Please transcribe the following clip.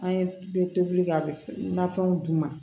An ye tobili kɛ a be nafɛnw d'u ma